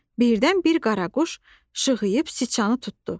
Birdən bir qaraquş şığıyıb siçanı tutdu.